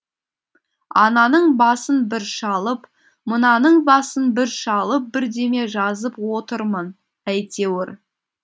ананың басын бір шалып мынаның басын бір шалып бірдеме жазып отырмын әйтеуір